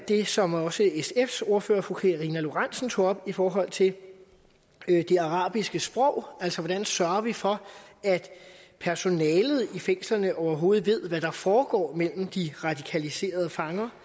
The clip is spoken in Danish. det som også sfs ordfører fru karina lorentzen dehnhardt tog op i forhold til det arabiske sprog altså hvordan sørger vi for at personalet i fængslerne overhovedet ved hvad der foregår mellem de radikaliserede fanger